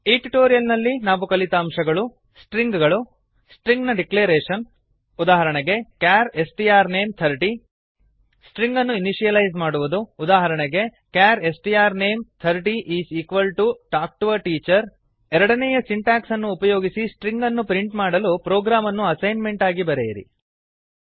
ಈ ಟ್ಯುಟೋರಿಯಲ್ ನಲ್ಲಿ ನಾವು ಕಲಿತ ಅಂಶಗಳು160 ಸ್ಟ್ರಿಂಗ್ ಗಳು ಸ್ಟ್ರಿಂಗ್ ನ ಡಿಕ್ಲರೇಶನ್ ಉದಾಹರಣೆಗೆ char strname30 char S T R name thirty string ಅನ್ನು ಇನಿಶಿಯಲೈಸ್ ಮಾಡುವುದು ಉದಾಹರಣೆಗೆ160 char strname30 talk to A teacher char S T R name thirty is equal to talk to a teacher ಎರಡನೇ syntax ಅನ್ನು ಉಪಯೋಗಿಸಿ string ಅನ್ನು print ಮಾಡಲು program ಅನ್ನು assignment ಆಗಿ ಬರೆಯಿರಿ